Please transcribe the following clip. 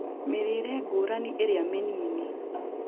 Mĩrĩĩre ngũrani ĩrĩa mĩnini